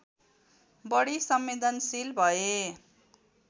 बढी संवेदनशील भए